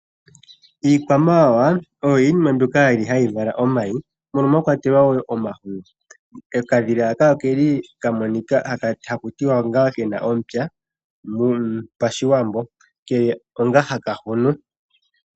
Iikwamawawa oyo yimwe ndjoka ha yi vala omayi mono mwakwatelwa omahwiyu. Okadhila haka okeli kataliko anuwa kena omupya pashiwambo nohakahunu.